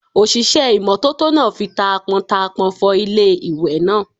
Òṣìṣẹ́ ìmọ́tótó náà fi taápọntaápọn fọ ilé ìwẹ̀ náà